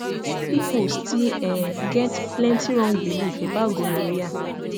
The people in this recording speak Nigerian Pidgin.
people still um get plenty wrong belief about gonorrhea